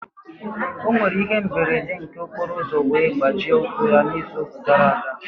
Ọ nwere ihe mberede nke okporoụzọ wee gbajie ụkwụ ya n'izu gara aga.